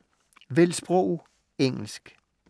Vælg sprog: engelsk